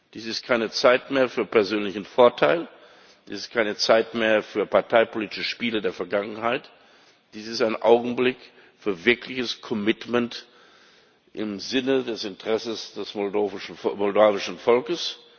Dies ist keine Zeit mehr für persönlichen Vorteil, dies ist keine Zeit mehr für parteipolitische Spiele der Vergangenheit, dies ist ein Augenblick für wirkliches commitment im Sinne des Interesses des moldauischen Volkes.